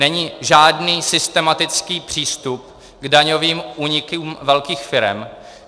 Není žádný systematický přístup k daňovým únikům velkých firem.